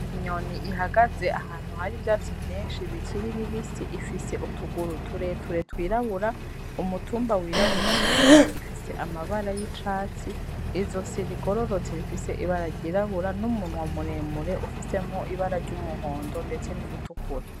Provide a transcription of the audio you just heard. Inyoni ihagaze ahantu hari ivyatsi vyinshi bikiri bibisi ifise utuguru tureture twirabura umutumba wirabura mu mbavu ifise amabara y'icatsi izosi rigororotse rifise ibara ryirabura n'umunwa muremure ufisemwo ibara ry'umuhondo ndetse n'iritukura.